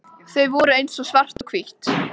Þau voru eins og svart og hvítt.